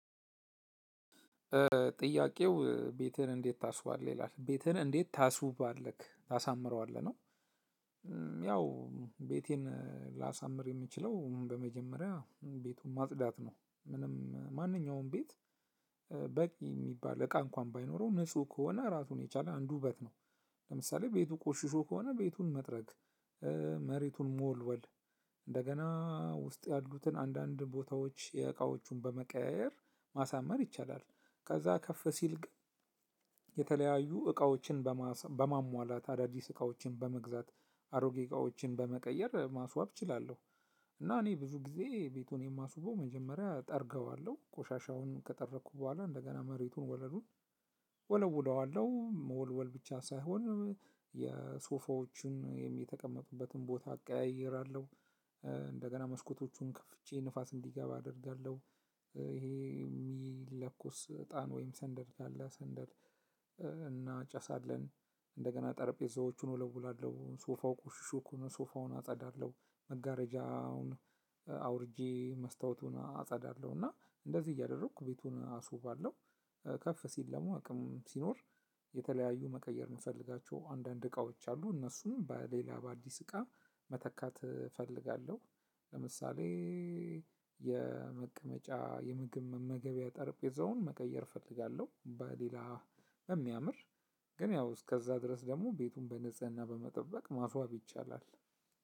ጥያቄው ቤትህን እንዴት ታስውባለህ ይላል ቤትህን እንዴት ታስውባለህ ታሳምረዋለህ ነው? ያው ቤቴን ላሳምር የምችለው በመጀመሪያ ቤቱን ማጽዳት ነው ምንም ማንኛውም ቤት። በቂ የሚባል እቃ እንኳን ባይኖረው ንጹህ ከሆነ ራሱን የቻለ አንዱ ውበት ነው። ለምሳሌ ቤቱ ቆሽሾ ከሆነ ቤቱን መጥረግ መሬቱን መወልወል እንደገና ውስጥ ያሉትን አንዳንድ ቦታዎች የእቃዎቹን በመቀያየር ማሳመር ይቻላል። ከዛ ከፍ ሲል ግን። የተለያዩ እቃዎችን በማሟላት አዳዲስ እቃዎችን በመግዛት አሮጌ እቃዎችን በመቀየር ማስዋብ እችላለሁ። እና እኔ ብዙ ጊዜ ቤቱን የማስውበው መጀመሪያ ጠርገዋለሁ ቆሻሻውን ከጠረኩ በኋላ እንደገና መሬቱን ወለሉን። ወለውለዋለሁ መወልወል ብቻ ሳይሆን የሶፋዎቹን የተቀመጡበትን ቦታ አቀያይራለሁ። እንደገና መስኮቶቹን ከፍቼ ንፋስ እንዲገባ አደርጋለሁ። ይሄ የሚለኩስ እጣን ወይም ሰንደል ካለ ሰንደል እናጨሳለን። እንደገና ጠረጴዛዎቹን ወለውላለሁ ወላለው ሶፋው ቆሽሾ ከሆነ ሶፋውን አጸዳለሁ። መጋረጃውን አውርጄ መስታወቱን አጻዳለሁ እና እንደዚህ እያደረኩ ቤቱን አስውባለሁ። ከፍ ሲል ደግሞ አቅም ሲኖር የተለያዩ መቀየር የምፈልጋቸው አንዳንድ እቃዎች አሉ እነሱም በሌላ በአዲስ እቃ መተካት እፈልጋለሁ። ለምሳሌ። የመቀመጫ የምግብ መመገቢያ ጠርጴዛውን መቀየር እፈልጋለሁ። በሌላ በሚያምር ግን ያው እስከዛ ድረስ ደግሞ ቤቱን በንጽህና በመጠበቅ ማስዋብ ይቻላል።